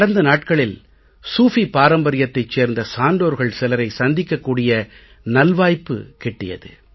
கடந்த நாட்களில் சூஃபி பாரம்பர்யத்தைச் சேர்ந்த சான்றோர்கள் சிலரை சந்திக்கக் கூடிய நல்வாய்ப்புக் கிட்டியது